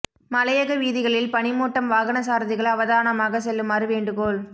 மலையக வீதிகளில் பனி மூட்டம் வாகன சாரதிகள் அவதானமாக செல்லுமாறு வேண்டுகோள்